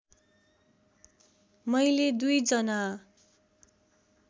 मैले दुई जना